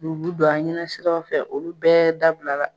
don an ɲɛnasira fɛ olu bɛɛ dabila la.